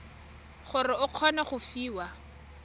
gore o kgone go fiwa